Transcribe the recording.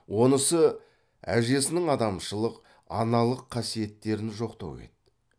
онысы әжесінің адамшылық аналық қасиеттерін жоқтау еді